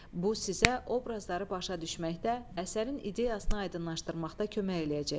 Bu sizə obrazları başa düşməkdə, əsərin ideyasını aydınlaşdırmaqda kömək eləyəcək.